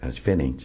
Era diferente.